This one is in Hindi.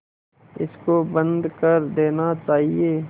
इसको बंद कर देना चाहिए